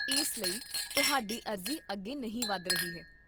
ਇਸ ਲਈ ਤੁਹਾਡੀ ਅਰਜ਼ੀ ਅੱਗੇ ਨਹੀਂ ਵੱਧ ਰਹੀ ਹੈ